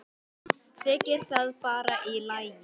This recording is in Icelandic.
Þykir það bara í lagi.